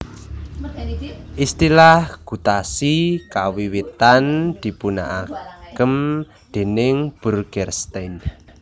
Istilah gutasi kawiwitan dipunagém dèning Burgerstein